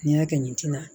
N'i y'a kɛ nin tina